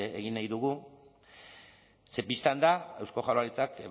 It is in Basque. egin nahi dugu ze bistan da eusko jaurlaritzak